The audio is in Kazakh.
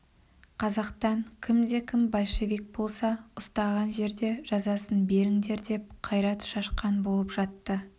қазақтан кімде-кім большевик болса ұстаған жерде жазасын беріңдер деп қайрат шашқан болып жатты